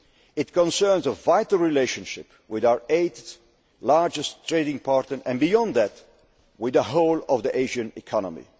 It concerns a vital relationship with our eighth largest trading partner and, beyond that, with the whole of the Asian